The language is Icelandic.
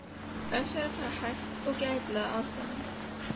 Best væri að fara hægt og gætilega að honum.